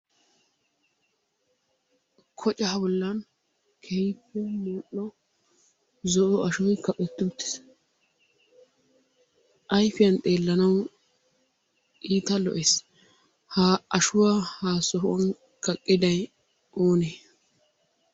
Kocca bollan keehippe mal'o zo'o ashshoy kaqqetti uttis ayfiyaani xeellanawu iitta lo'ees. Ha ashshuwaa ha sohuwaan kaqqidday oone?